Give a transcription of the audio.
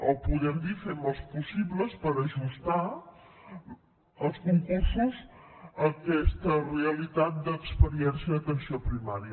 o podem dir fem els possibles per ajustar els concursos a aquesta realitat d’experiència en atenció primària